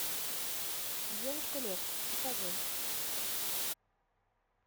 девушка лев покажи